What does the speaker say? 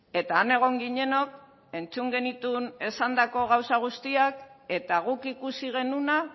eta han egon ginenok entzun genituen esandako gauza guztiak eta guk ikusi genuena